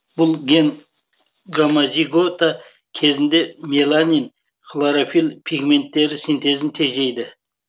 бұл ген гомозигота кезінде меланин хлорофилл пигменттері синтезін тежейді